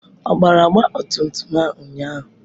Ọ gbara ọgba tum tum a ụnyaahụ?